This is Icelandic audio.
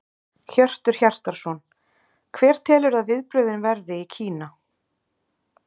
Hjörtur Hjartarson: Hver telurðu að viðbrögðin verði í Kína?